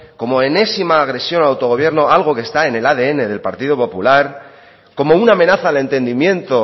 como enésima agresión al autogobierno algo que está en el adn del partido popular como una amenaza al entendimiento